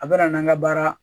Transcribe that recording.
A bɛ na n'an ka baara